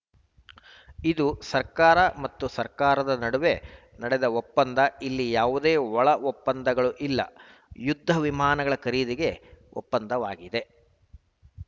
ಇದು ಸರ್ಕಾರ ಮತ್ತು ಸರ್ಕಾರದ ನಡುವೆ ನಡೆದ ಒಪ್ಪಂದ ಇಲ್ಲಿ ಯಾವುದೇ ಒಳ ಒಪ್ಪಂದಗಳೂ ಇಲ್ಲ ಯುದ್ಧ ವಿಮಾನಗಳ ಖರೀದಿಗೆ ಒಪ್ಪಂದವಾಗಿದೆ